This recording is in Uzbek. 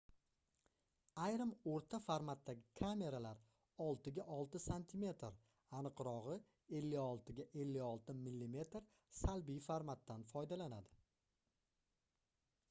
ayrim oʻrta formatdagi kameralar 6 ga 6 sm aniqrogʻi 56 ga 56 mm salbiy formatdan foydalanadi